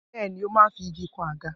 Bẹ́ẹ̀ ni, ó máa ń fi igi kan àga.